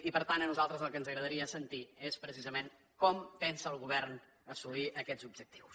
i per tant a nosaltres el que ens agradaria sentir és precisament com pensa el govern assolir aquests objectius